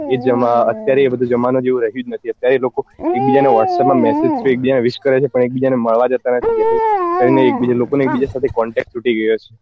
એ જમા અત્યારે એ બધું જમાના જેવું રહ્યું જ નથી અત્યારે લોકો એક બીજા ને whatsapp માં message થી એક બીજા ને wish કરે છે પણ એક બીજા ને મળવા જતા નથી લોકો ને એક બીજા સાથે થી contact તૂટી ગયો છે